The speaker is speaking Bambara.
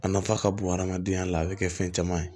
A nafa ka bon adamadenya la a bɛ kɛ fɛn caman ye